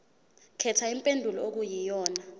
khetha impendulo okuyiyona